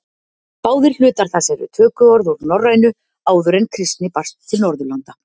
Báðir hlutar þess eru tökuorð úr norrænu áður en kristni barst til Norðurlanda.